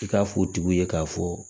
I k'a fɔ o tigiw ye k'a fɔ